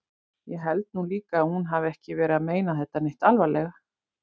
Ég held nú líka að hún hafi ekki verið að meina þetta neitt alvarlega.